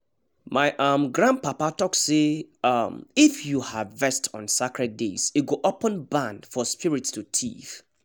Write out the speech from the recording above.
my um grandpapa talk say um if you harvest on sacred days e go open barn for spirit to thief